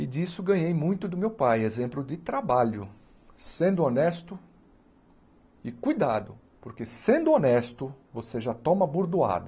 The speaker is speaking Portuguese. E disso ganhei muito do meu pai, exemplo de trabalho, sendo honesto e cuidado, porque sendo honesto você já toma bordoada.